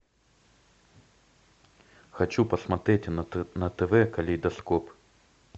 хочу посмотреть на тв калейдоскоп